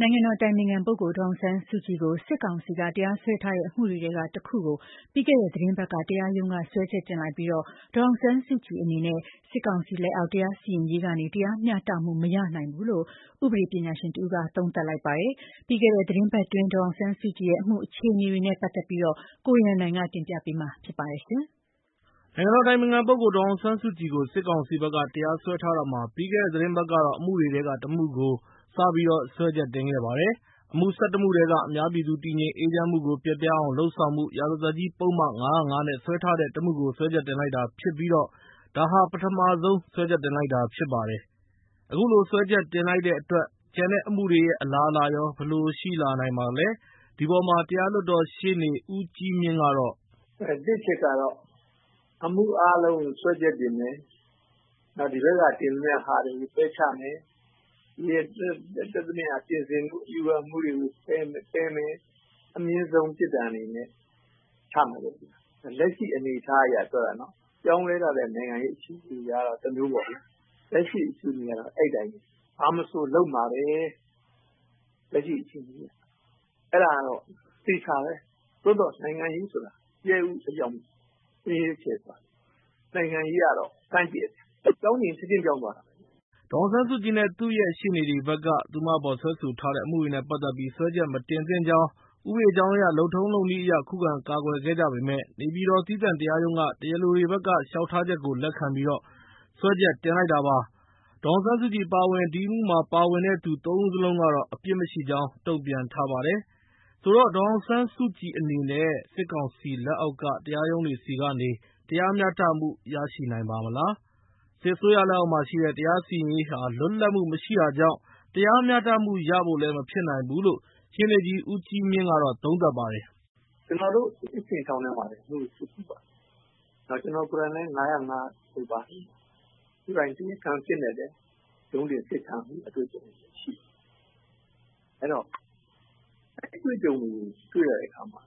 နိုင်ငံတော်အတိုင်ပင်ခံပုဂ္ဂိုလ် ဒေါ်အောင်ဆန်းစုကြည်ကို စစ်ကောင်စီက တရားစွဲထားတဲ့ အမှုတွေထဲက ၁ ခုကို ပြီးခဲ့တဲ့ သီတင်းပတ်က တရားရုံးက စွဲချက်တင်လိုက်ပြီး ဒေါ်အောင်ဆန်းစုကြည်အနေနဲ့ စစ်ကောင်စီလက်အောက် တရားစီရင်ရေးကနေ တရားမျှတမှု မရနိုင်ဘူးလို့ ဥပဒေပညာရှင်တဦးက သုံးသပ်လိုက်ပါတယ်။ ပြီးခဲ့တဲ့ သီတင်းပတ်အတွင်း ဒေါ်အောင်ဆန်းစုကြည်ရဲ့အမှု အခြေအနေတွေနဲ့ ပတ်သက်ပြီး ကိုရန်နိုင်က တင်ပြပေးမှာဖြစ်ပါတယ်။ နိုင်ငံတော်အတိုင်ပင်ခံပုဂ္ဂိုလ် ဒေါ်အောင်ဆန်းစုကြည်ကို စစ်ကောင်စီဘက်က တရားစွဲထားတာမှာ ပြီးခဲ့တဲ့သီတင်းပတ်ကတော့ အမှုတွေထဲက ၁ မှုကို စပြီးတော့ စွဲချက်တင်ခဲ့ပါတယ်။ အမှု ၁၁ မှုထဲက အများပြည်သူ တည်ငြိမ်အေးချမ်းမှုကို ပျက်ပြားအောင် လုပ်ဆောင်မှု၊ ရာဇသတ်ကြီးပုဒ်မ ၅၀၅(ခ) နဲ့ စွဲထားတဲ့ ၁ မှုကို စွဲချက်တင်လိုက်တာဖြစ်ပြီး ဒါဟာ ပထမဆုံး စွဲချက်တင်လိုက်တာ ဖြစ်ပါတယ်။ အခုလို စွဲချက်တင်လိုက်တဲ့အတွက် ကျန်တဲ့အမှုတွေရဲ့ အလားအလာရော ဘယ်လိုရှိလာနိုင်ပါသလဲ၊ ဒီအပေါ်မှာ တရားလွှတ်တော်ရှေ့နေ ဦးကြီးမြင့်ကတော့... “တစ်အချက်ကတော့ အမှုအားလုံးကို စွဲချက်တင်မယ်၊ နောက် ဒီဘက်က တင်သမျှဟာတွေကို ပယ်ချမယ်၊ တက်သမျှ ပြင်ဆင်မှု အယူခံမှုတွေကို ပယ်မယ်၊ အမြင့်ဆုံး ပြစ်ဒဏ်အနေနဲ့ ချမယ်၊ လက်ရှိအနေအထားအရ ပြောတာ။ ပြောင်းလဲလာတဲ့ နိုင်ငံရေးအခြေအနေအရတော့ တမျိုးပေါ့လေ။ လက်ရှိ အခြေအနေကတော့ အဲဒီအတိုင်းပဲ။ ဘာမဆိုလုပ်မှာပဲ လက်ရှိအခြေအနေက။ အဲဒါကတော့ အသေအချာပဲ။ သို့သော် နိုင်ငံရေးဆိုတာ ကြက်ဥအရောင် မင်းရေးကျယ်ပါတယ်။ နိုင်ငံရေးအရတော့ ဆန်းကြယ်တယ်။ ပြောင်းချင်ရင် ချက်ချင်းပြောင်းသွားတာ။” လို့ ပြောပါတယ်။ ဒေါ်အောင်ဆန်းစုကြည်နဲ့ သူ့ရဲ့ ရှေ့နေတွေဘက်က သူမအပေါ် စွဲဆိုထားတဲ့ အမှုတွေနဲ့ ပတ်သက်ပြီး စွဲချက်မတင်သင့်ကြောင်း ဥပဒေကြောင်းအရ လုပ်ထုံးလုပ်နည်းအရ ခုခံကာကွယ်ခဲ့ကြပေမယ့် နေပြည်တော် သီးသန့်တရားရုံးက တရားလိုတွေဘက်က လျှောက်ထားချက်ကို လက်ခံပြီး စွဲချက်တင်လိုက်တာပါ။ ဒေါ်အောင်ဆန်းစုကြည် အပါအဝင် ဒီအမှုမှာ ပါဝင်တဲ့သူ ၃ ဦးစလုံးကတော့ အပြစ်မရှိကြောင်း တုံ့ပြန်ထားပါတယ်။ ဒေါ်အောင်ဆန်းစုကြည်အနေနဲ့ စစ်ကောင်စီလက်အောက်က တရားရုံးတွေဆီကနေ တရားမျှတမှု ရနိုင်ပါ့မလား။ စစ်အစိုးရလက်အောက်မှာရှိတဲ့ တရားစီရင်ရေးဟာ လွတ်လပ်မှု မရှိတာကြောင့် တရားမျှတမှုရဖို့လည်း မဖြစ်နိုင်ဘူးလို့ ရှေ့နေကြီး ဦးကြီးမြင့်က သုံးသပ်ပါတယ်။ “ကျနော်တို့ အင်းစိန်ထောင်ထဲမှာလည်း အမှုတွေ စစ်ဖူးပါတယ်။ ကျနော်ကိုယ်တိုင်လည်း ၅၀၅ ထဲပါတယ်။ ကိုယ်တိုင် တရားခံအဖြစ်နဲ့လည်း ရုံးတင် အစစ်ခံရတဲ့ အတွေ့အကြုံရှိတယ်။ အဲဒီအတွေ့အကြုံတွေကို တွေ့ရတဲ့အခါမှာ